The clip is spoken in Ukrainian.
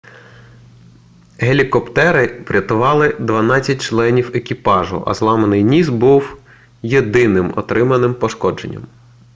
гелікоптери врятували дванадцять членів екіпажу а зламаний ніс став єдиним отриманим пошкодженням